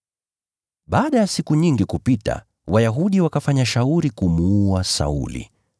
Baada ya siku nyingi kupita, Wayahudi wakafanya shauri kumuua Sauli.